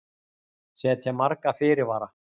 Setja marga fyrirvara